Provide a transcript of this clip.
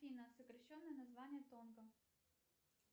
афина сокращенное название тонго